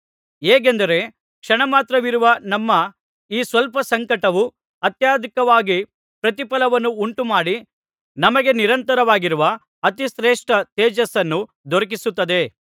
ಹೇಗೆಂದರೆ ಕ್ಷಣಮಾತ್ರವಿರುವ ನಮ್ಮ ಈ ಸ್ವಲ್ಪ ಸಂಕಟವು ಅತ್ಯಂತಾಧಿಕವಾಗಿ ಪ್ರತಿಫಲವನ್ನು ಉಂಟುಮಾಡಿ ನಮಗೆ ನಿರಂತರವಾಗಿರುವ ಅತಿಶ್ರೇಷ್ಟ ತೇಜಸ್ಸನ್ನು ದೊರಕಿಸುತ್ತದೆ